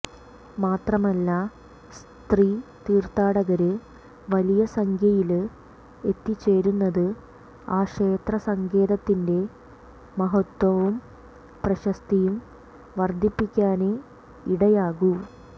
മാത്രമല്ല സ്ത്രീ തീര്ത്ഥാടകര് വലിയ സംഖ്യയില് എത്തിച്ചേരുന്നത് ആ ക്ഷേത്ര സങ്കേതത്തിന്റെ മഹത്വവും പ്രശസ്തിയും വര്ദ്ധിപ്പിക്കാനേ ഇടയാക്കൂ